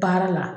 Baara la